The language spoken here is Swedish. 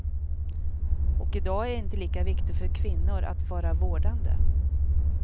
Och i dag är det inte lika viktigt för kvinnor att vara vårdande.